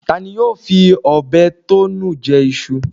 Ta ni yóò fi ọbẹ̀ tó nu jẹ iṣu